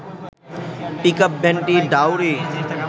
পিকআপভ্যানটি Daori